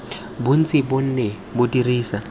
bontsi bo ne bo dirisa